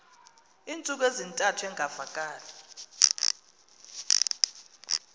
iintsuku ezintathu engavakali